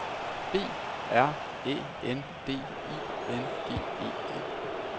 B R Æ N D I N G E N